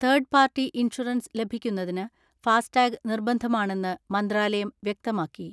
Third party insurance ലഭിക്കുന്നതിന് FASTag നിർബന്ധമാണെന്ന് മന്ത്രാലയം വ്യക്തമാക്കി.